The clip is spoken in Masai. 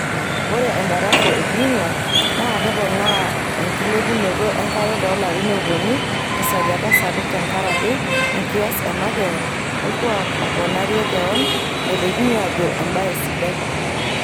Ore embarafu e Greenland naa keponaa enkilepunoto enkare toolarin oopuon tesajata sapuk tenkaraki enkias e makewan olkuak oponarie kewan[naitekini aajo embaye sidai].